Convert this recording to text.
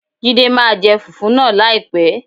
Jídé máa jẹ fùfú náà láìpẹ́.